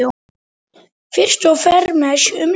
Fyrst og fremst um líf.